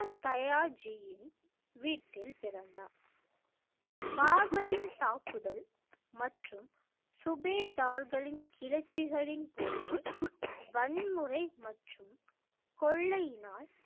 தயா ஜியின் வீட்டில் பிறந்தார் பாபரின் தாக்குதல் மற்றும் சுபேதார்களின் கிளர்ச்சிகளின் போது வன்முறை மற்றும் கொள்ளையினால்